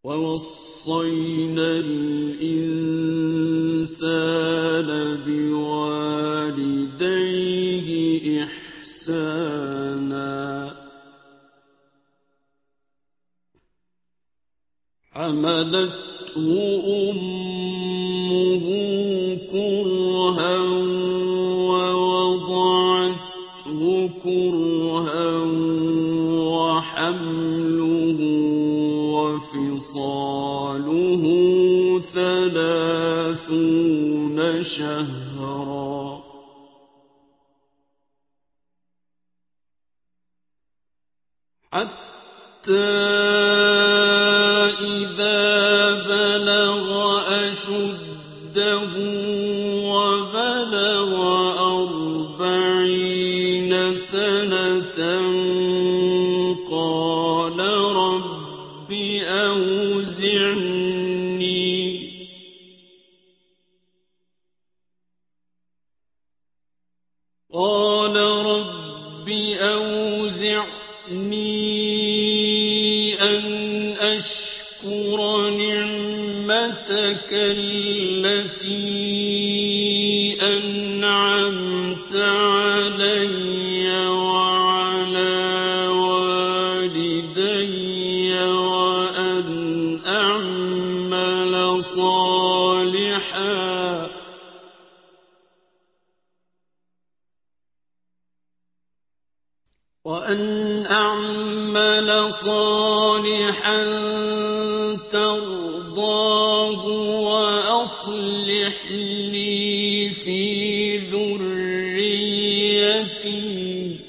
وَوَصَّيْنَا الْإِنسَانَ بِوَالِدَيْهِ إِحْسَانًا ۖ حَمَلَتْهُ أُمُّهُ كُرْهًا وَوَضَعَتْهُ كُرْهًا ۖ وَحَمْلُهُ وَفِصَالُهُ ثَلَاثُونَ شَهْرًا ۚ حَتَّىٰ إِذَا بَلَغَ أَشُدَّهُ وَبَلَغَ أَرْبَعِينَ سَنَةً قَالَ رَبِّ أَوْزِعْنِي أَنْ أَشْكُرَ نِعْمَتَكَ الَّتِي أَنْعَمْتَ عَلَيَّ وَعَلَىٰ وَالِدَيَّ وَأَنْ أَعْمَلَ صَالِحًا تَرْضَاهُ وَأَصْلِحْ لِي فِي ذُرِّيَّتِي ۖ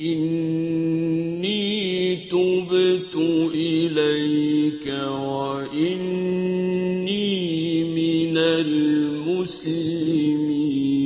إِنِّي تُبْتُ إِلَيْكَ وَإِنِّي مِنَ الْمُسْلِمِينَ